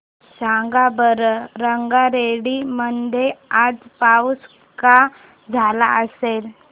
सांगा बरं रंगारेड्डी मध्ये आज पाऊस का झाला असेल